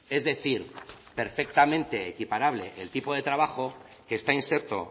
es decir perfectamente equiparable el tipo de trabajo que está inserto